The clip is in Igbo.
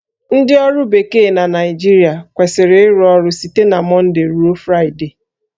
Ndị ọrụ bekee na Naịjirịa kwesịrị ịrụ ọrụ site na Mọndee ruo Fraịdee